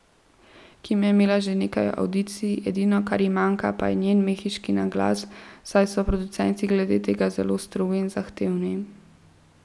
Kim je imela že nekaj avdicij, edino kar ji manjka pa je njen mehiški naglas, saj so producenti glede tega zelo strogi in zahtevni.